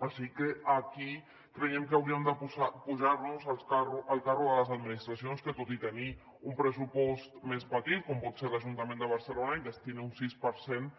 així que aquí creiem que hauríem de pujar al carro de les administracions que tot i tenir un pressupost més petit com pot ser l’ajuntament de barcelona destina un sis per cent